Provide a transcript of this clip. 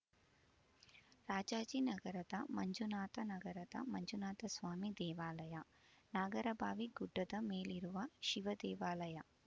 ರಾಜಾಜಿನಗರದ ಮಂಜುನಾಥ ನಗರದ ಮಂಜುನಾಥಸ್ವಾಮಿ ದೇವಾಲಯ ನಾಗರಭಾವಿ ಗುಡ್ಡದ ಮೇಲಿರುವ ಶಿವದೇವಾಲಯ